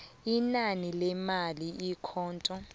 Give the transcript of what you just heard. inani lemali ikhotho